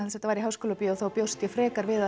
þetta var í Háskólabíói þá bjóst ég frekar við